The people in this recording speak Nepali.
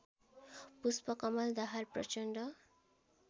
पुष्पकमल दाहाल प्रचण्ड